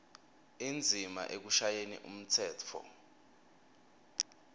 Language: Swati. indzima ekushayeni umtsetfo